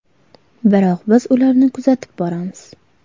Biroq biz ularni kuzatib boramiz.